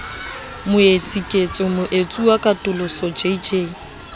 moetsi ketso moetsuwa katoloso jj